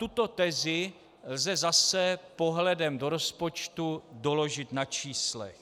Tuto tezi lze zase pohledem do rozpočtu doložit na číslech.